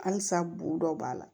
Halisa bu dɔ b'a la